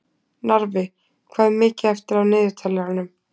Narfi, hvað er mikið eftir af niðurteljaranum?